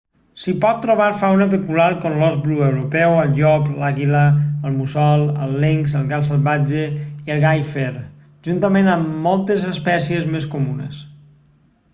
s'hi pot trobar fauna pecular com l'ós bru europeu el llop l'àguila el mussol el linx el gat salvatge i el gall fer juntament amb moltes espècies més comunes